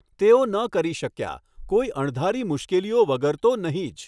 તેઓ ન કરી શક્યા. કોઈ અણધારી મુશ્કેલીઓ વગર તો નહીં જ.